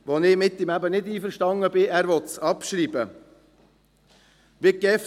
Hingegen bin ich mit dem Regierungsrat nicht einverstanden, weil er dies abschreiben weil.